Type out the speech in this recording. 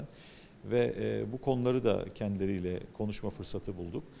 Və eee bu mövzuları da özləri ilə danışma fürsəti tapdıq.